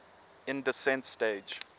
lm descent stage